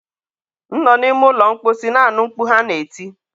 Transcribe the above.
m nọ n'ime ụlọ mkposi na-anụ mkpu ha na-eti.